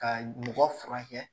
Ka mɔgɔ furakɛ